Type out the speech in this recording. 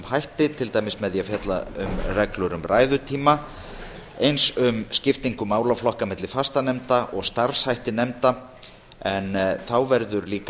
hætti til dæmis með því að fjalla um reglur um ræðutíma þá verður þar einnig fjallað frekar um skiptingu málaflokka á milli fastanefnda og starfshætti nefnda en þá verður